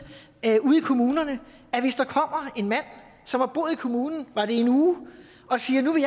kommunerne at en mand som har boet i kommunen var det i en uge og siger at nu vil